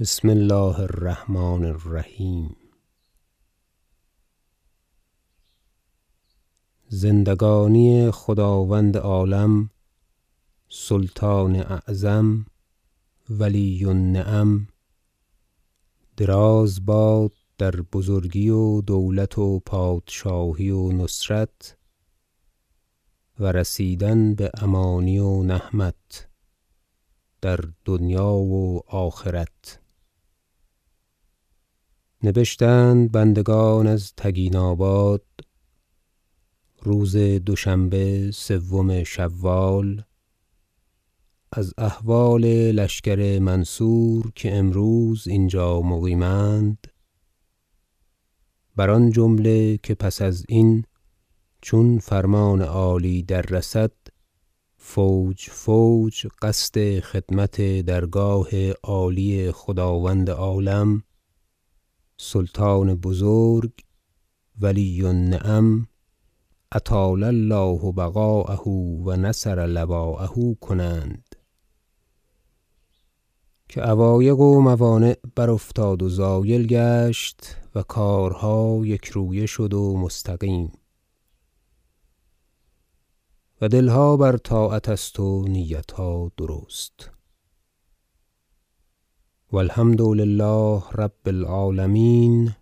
بسم الله الرحمن الرحیم زندگانی خداوند عالم سلطان اعظم ولی النعم دراز باد در بزرگی و دولت و پادشاهی و نصرت و رسیدن به امانی و نهمت در دنیا و آخرت نبشتند بندگان از تگین آباد روز دوشنبه سوم شوال از احوال لشکر منصور که امروز اینجا مقیم اند بر آن جمله که پس ازین چون فرمان عالی دررسد فوج فوج قصد خدمت درگاه عالی خداوند عالم سلطان بزرگ ولی النعم اطال الله بقاءه و نصر لواءه کنند که عوایق و موانع برافتاد و زایل گشت و کارها یکرویه شد و مستقیم و دلها بر طاعت است و نیتها درست و الحمد لله رب العالمین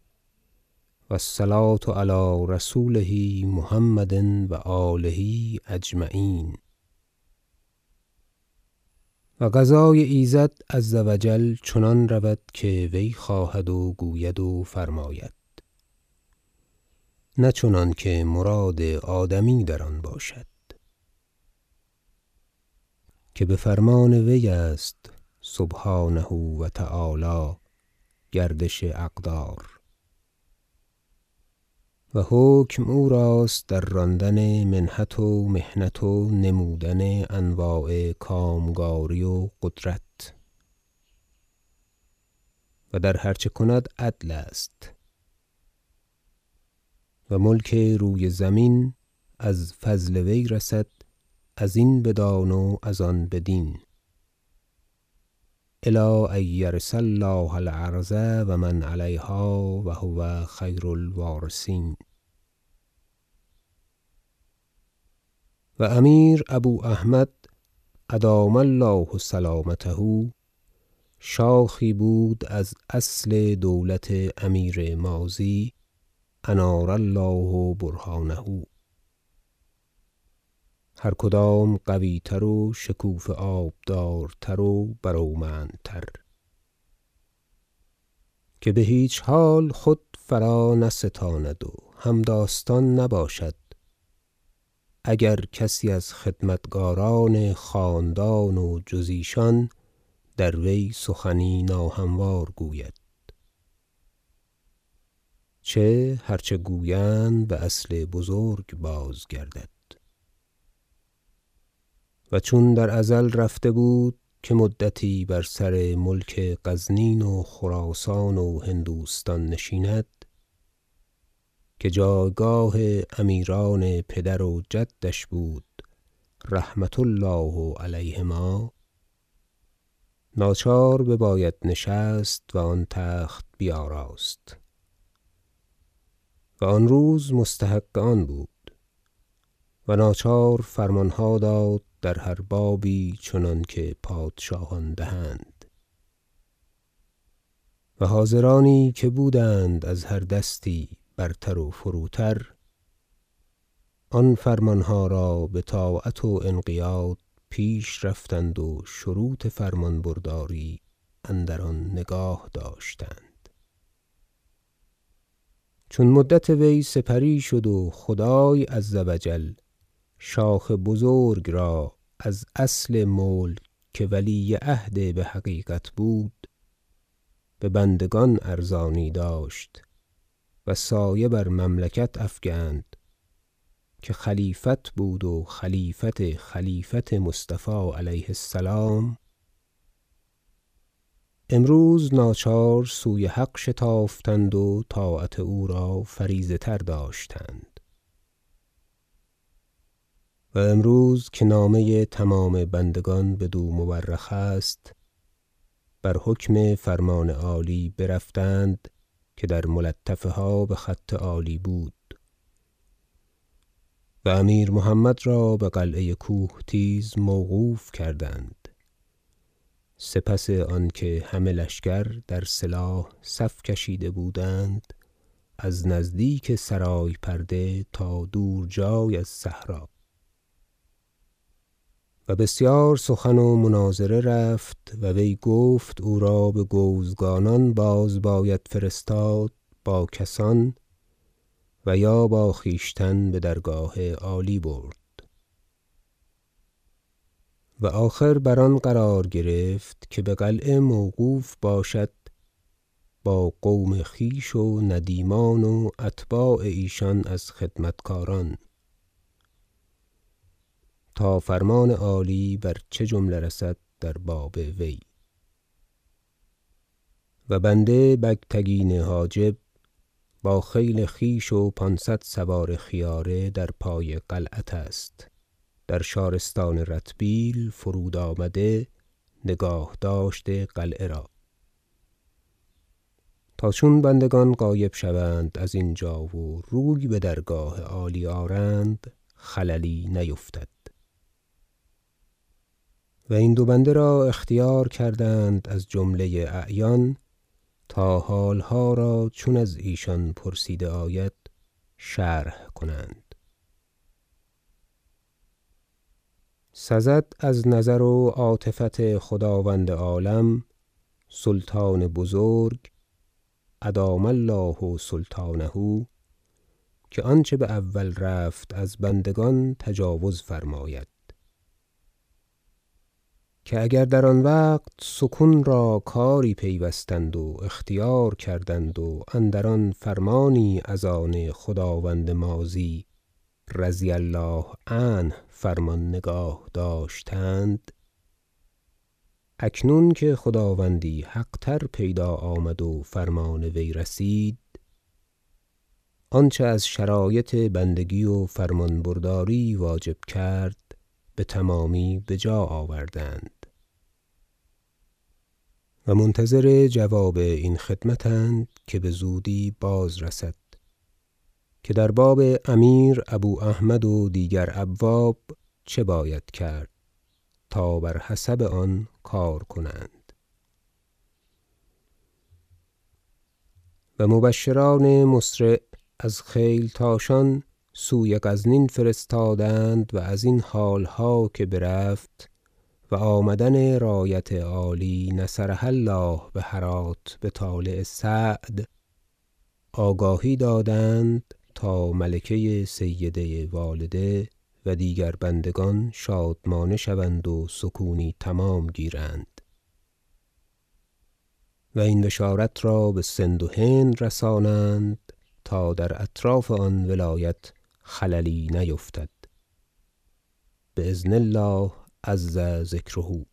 و الصلوة علی رسوله محمد و آله اجمعین و قضای ایزد -عز و جل - چنان رود که وی خواهد و گوید و فرماید نه چنانکه مراد آدمی در آن باشد که به فرمان وی است سبحانه و تعالی گردش اقدار و حکم او راست در راندن منحت و محنت و نمودن انواع کامکاری و قدرت و در هر چه کند عدل است و ملک روی زمین از فضل وی رسد ازین بدان و از آن بدین إلی أن یرث الله الأرض و من علیها و هو خیر الوارثین و امیر ابواحمد -أدام الله سلامته - شاخی بود از اصل دولت امیر ماضی -أنار الله برهانه هر کدام قویتر و شکوفه آبدارتر و برومندتر که به هیچ حال خود فرانستاند و همداستان نباشد اگر کسی از خدمتگاران خاندان و جز ایشان در وی سخنی ناهموار گوید چه هر چه گویند به اصل بزرگ بازگردد و چون در ازل رفته بود که مدتی بر سر ملک غزنین و خراسان و هندوستان نشیند که جایگاه امیران پدر و جدش بود -رحمة الله علیهما- ناچار بباید نشست و آن تخت بیاراست و آن روز مستحق آن بود و ناچار فرمانها داد در هر بابی چنانکه پادشاهان دهند و حاضرانی که بودند از هر دستی برتر و فروتر آن فرمانها را به طاعت و انقیاد پیش رفتند و شروط فرمانبرداری اندر آن نگاه داشتند چون مدت وی سپری شد و خدای -عز و جل- شاخ بزرگ را از اصل ملک که ولی عهد بحقیقت بود به بندگان ارزانی داشت و سایه بر مملکت افکند که خلیفت بود و خلیفت خلیفت مصطفی -علیه السلام- امروز ناچار سوی حق شتافتند و طاعت او را فریضه تر داشتند و امروز که نامه تمام بندگان بدو مورخ است بر حکم فرمان عالی برفتند که در ملطفه ها به خط عالی بود و امیر محمد را به قلعه کوهتیز موقوف کردند سپس آنکه همه لشکر در سلاح صف کشیده بودند از نزدیک سرای پرده تا دور جای از صحرا و بسیار سخن و مناظره رفت و وی گفت او را به گوزگانان باز باید فرستاد با کسان و یا با خویشتن به درگاه عالی برد و آخر بر آن قرار گرفت که به قلعه موقوف باشد با قوم خویش و ندیمان و اتباع ایشان از خدمتگاران تا فرمان عالی بر چه جمله رسد به باب وی و بنده بگتگین حاجب با خیل خویش و پانصد سوار خیاره در پای قلعت است در شارستان رتبیل فرودآمده نگاهداشت قلعه را تا چون بندگان غایب شوند از اینجا و روی به درگاه عالی آرند خللی نیفتد و این دو بنده را اختیار کردند از جمله اعیان تا حالها را چون از ایشان پرسیده آید شرح کنند سزد از نظر و عاطفت خداوند عالم سلطان بزرگ -أدام الله سلطانه - که آنچه به اول رفت از بندگان تجاوز فرماید که اگر در آن وقت سکون را کاری پیوستند و اختیار کردند و اندر آن فرمانی از آن خداوند ماضی -رضی الله عنه - نگاه داشتند اکنون که خداوندی حق تر پیدا آمد و فرمان وی رسید آنچه از شرایط بندگی و فرمانبرداری واجب کرد به تمامی به جا آوردند و منتظر جواب این خدمت اند که بزودی بازرسد که در باب امیر ابواحمد و دیگر ابواب چه باید کرد تا بر حسب آن کار کنند و مبشران مسرع از خیلتاشان سوی غزنین فرستادند و ازین حالها که برفت و آمدن رایت عالی -نصرها الله - به هرات به طالع سعد آگاهی دادند تا ملکه سیده والده و دیگر بندگان شادمانه شوند و سکونی تمام گیرند و این بشارت را به سند و هند رسانند تا در اطراف آن ولایت خللی نیفتد باذن الله عز ذکره